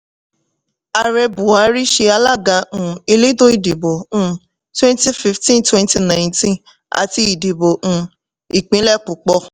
ààrẹ buhari ṣe alága um elétò ìdìbò um twenty fifteen twenty nineteen àti ìdìbò um ìpínlẹ̀ púpọ̀.